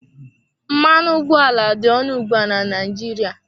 Mmanụ ụgbọala dị ọnụ ugbu a na Naịjirịa.